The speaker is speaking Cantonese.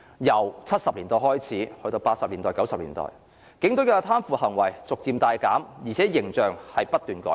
由1970年代開始，至1980年代、1990年代，警隊的貪腐行為逐漸大減，形象不斷改善。